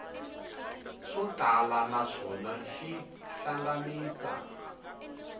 swo tala naswona xi hlanganisa